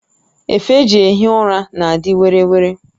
Efe eji ehi ụra na adị were were